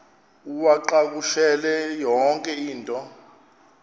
uwacakushele yonke into